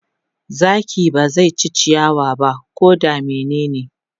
Zaki ba zai ci ciyawa ba ko da menene.